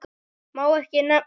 Má ekki nefna